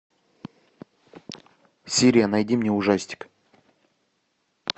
сири найди мне ужастик